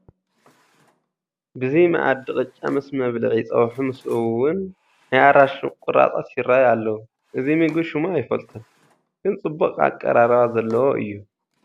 ብዚ መኣዲ ቅጫ ምስ መብልዒ ፀብሑ ምስኡውን ናይ ኣራንሺ ቁራፃት ይርአዩ ኣለዉ፡፡ እዚ ምግቢ ሽሙ ኣይፈልጦን፡፡ ግን ፅቡቕ ኣቀራርባ ዘለዎ እዩ፡፡